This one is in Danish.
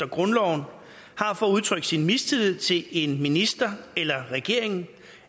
grundloven har for at udtrykke sin mistillid til en minister eller regeringen